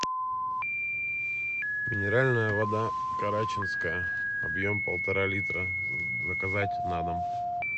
минеральная вода карачинская объем полтора литра заказать на дом